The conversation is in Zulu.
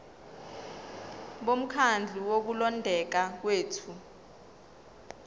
bomkhandlu wokulondeka kwethu